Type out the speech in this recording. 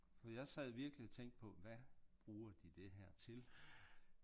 For jeg sad virkelig og tænkte på hvad bruger de det her til?